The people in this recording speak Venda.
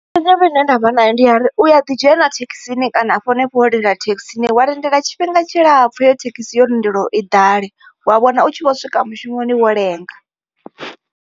Ine ndavha nayo ndi ya uri u ya ḓi dzhena thekhisini kana hanefho wo lindela thekhisi wa lindela tshifhinga tshilapfu wo lindela uri iyo thekhisi i ḓale wa wana utshi vho swika mushumoni wo lenga.